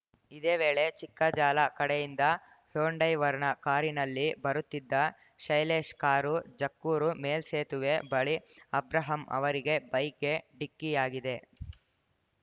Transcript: ಇದೇ ವೇಳೆ ಚಿಕ್ಕಜಾಲ ಕಡೆಯಿಂದ ಹೊಂಡೈ ವರ್ಣಾ ಕಾರಿನಲ್ಲಿ ಬರುತ್ತಿದ್ದ ಶೈಲೇಶ್‌ ಕಾರು ಜಕ್ಕೂರು ಮೇಲ್ಸೇತುವೆ ಬಳಿ ಅಬ್ರಾಹಂ ಅವರಿಗೆ ಬೈಕ್‌ಗೆ ಡಿಕ್ಕಿಯಾಗಿದೆ